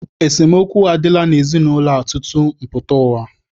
Esemookwu adịla n'ezinaụlọ a tutu m pụta ụwa.